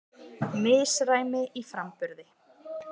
Misræmi í framburði